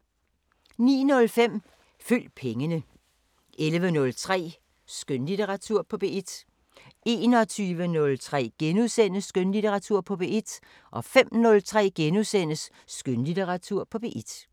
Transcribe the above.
09:05: Følg pengene 11:03: Skønlitteratur på P1 21:03: Skønlitteratur på P1 * 05:03: Skønlitteratur på P1 *